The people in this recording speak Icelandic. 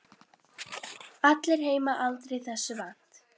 Allir heima aldrei þessu vant.